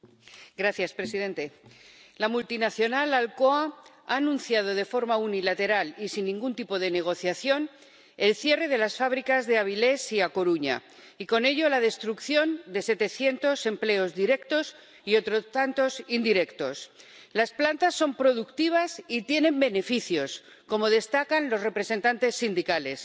Señor presidente, la multinacional Alcoa ha anunciado de forma unilateral y sin ningún tipo de negociación el cierre de las fábricas de Avilés y A Coruña y, con ello, la destrucción de setecientos empleos directos y otros tantos indirectos. Las plantas son productivas y tienen beneficios, como destacan los representantes sindicales.